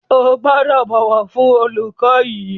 Ẹ gbọ́dọ̀ bọ̀wọ̀ fún olùkọ́ yín.